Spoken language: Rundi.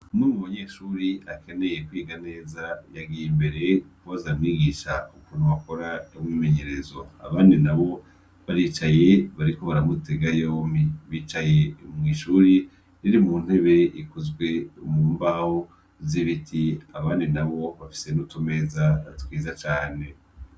Umwe mu banyeshure akeneye kwiga neza yagiye imbere kubaza umwigisha ukuntu bakora umwimenyerezo abandi nabo baricaye bariko baramutega yompi bicaye mwishure ririmwo intebe zikozwe mu mbaho z’ibiti abandi nabo bafise nutu meza twiza cane.